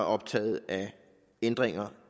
optaget af ændringer